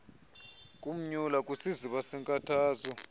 kumnyula kwisiziba seenkathazo